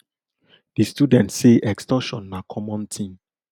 di students say extortion na common tin